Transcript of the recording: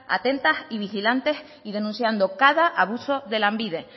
atentas y vigilantes y denunciando cada abuso de lanbide